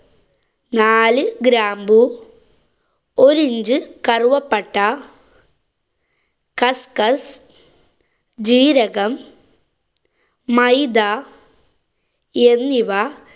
നാലു ഗ്രാമ്പു, ഒരു inch കറുവപ്പട്ട, കസ്കസ്, ജീരകം, മൈദ, എന്നിവ